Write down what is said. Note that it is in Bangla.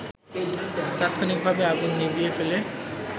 তাৎক্ষণিকভাবে আগুন নিভিয়ে ফেলে